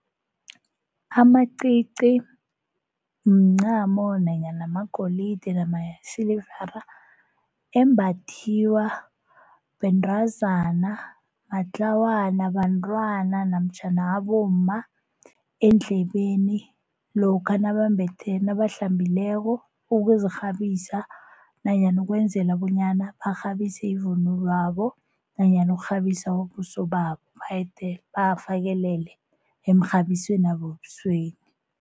Amacici mncamo nanyana magolide embathiwa bentazana, matlawana, bantwana namtjhana abomma eendlebeni lokha nabambethe nabahlambileko ukuzirhabisa nanyana ukwenzela bonyana barhabise ivunulwabo nanyana ukurhabisa ubuso babo bawafakelele emrhabisweni wabo webusweni.